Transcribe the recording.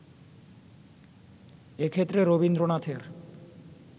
এ ক্ষেত্রে রবীন্দ্রনাথের